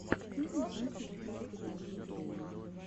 что найдешь из влогов канала кейна